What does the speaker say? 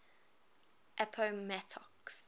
appomattox